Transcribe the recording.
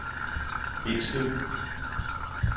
Bindslev